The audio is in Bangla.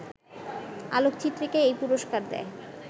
আলোকচিত্রীকে এই পুরস্কার দেয়